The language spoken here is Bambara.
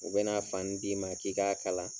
U bɛ na fani d'i ma k'i k'a kalan.